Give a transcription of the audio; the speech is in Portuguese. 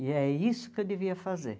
E é isso que eu devia fazer.